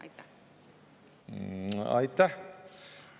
Aitäh!